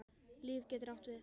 Líf getur átt við